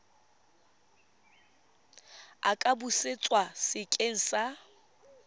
a ka busetswa sekeng sa